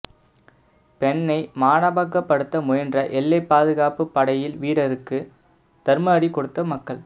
பெண்ணை மானபங்கப்படுத்த முயன்ற எல்லைப் பாதுகாப்பு படையில் வீரருக்கு தர்ம அடி கொடுத்த மக்கள்